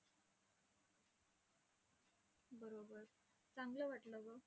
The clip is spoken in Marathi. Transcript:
चांगलं वाटलं गं.